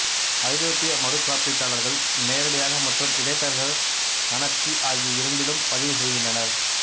ஐரோப்பிய மறுகாப்பீட்டாளர்கள் நேரடியாக மற்றும் இடைத்தரகர் கணக்கு ஆகிய இரண்டிலும் பதிவு செய்கின்றனர்